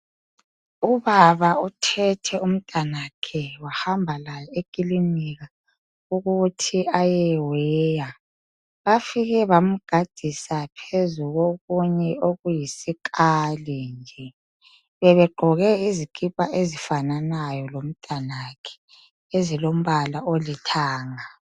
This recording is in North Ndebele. Ubaba uthethe umntanakhe wahamba laye ekilinika ukuthi ayeweya. Bafike bamgadisa phezu kokunye okuyisikali nje. Bebegqoke izikipa esifananayo lomntwanakhe, ezilombala olithanga.